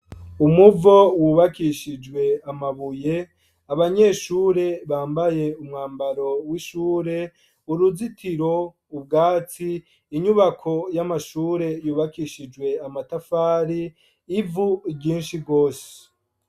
Umuvo wubakishije amabuye, abanyeshure bambaye umwambaro w'ishure, uruzitiro, ubwatsi, inyubako y'amashure yubakishije amatafari, ivu ryinshi rwose.